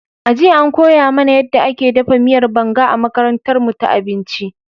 A jiya, an koya mana yadda ake dafa miyar Banga a makarantarmu ta abinci.